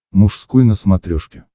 мужской на смотрешке